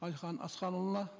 әлихан асханұлына